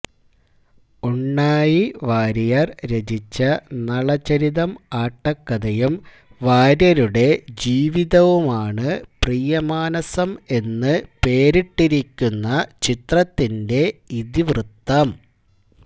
ഉണ്ണായിവാരിയര് രചിച്ച നളചരിതം ആട്ടക്കഥയും വാര്യരുടെ ജീവിതവുമാണ് പ്രിയമാനസം എന്ന് പേരിട്ടിരിക്കുന്ന ചിത്രത്തിന്റെ ഇതിവൃത്തം